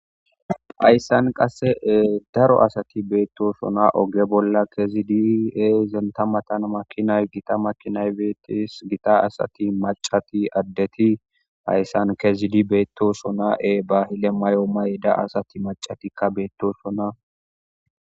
Hayssan qasse daro asati beettosona oge bolla kezid enta matan makinay gita makinay beetes. Gita asati maccati addeti hayssan kezidi beettosona. E bahile mayo mayida asati maccatikka beettosona.